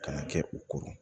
Kana kɛ u koron